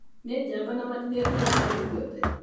Nĩ njamba na matĩretigĩra kindũo gĩothe.